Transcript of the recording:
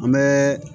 An bɛ